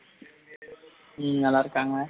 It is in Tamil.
உம் நல்லா இருக்காங்க